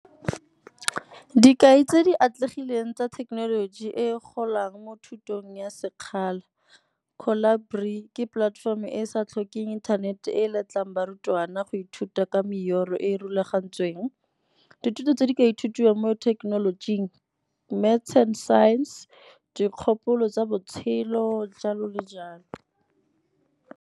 Dikai tse di atlegileng tsa thekenoloji e golang mo thutong ya sekgala, Collabri ke platform e e sa tlhokeng inthanete e letlang barutwana go ithuta ka e e rulagantsweng. Dithuto tse di ka ithutiwang mo thekenolojing Maths and Science, dikgopolo tsa botshelo, jalo le jalo.